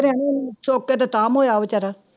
ਹੋਇਆ ਬੇਚਾਰਾ